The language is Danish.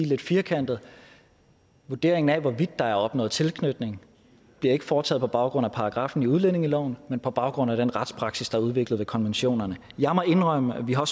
lidt firkantet vurderingen af hvorvidt der er opnået tilknytning bliver ikke foretaget på baggrund af paragraffen i udlændingeloven men på baggrund af den retspraksis der er udviklet ved konventionerne jeg må indrømme og vi har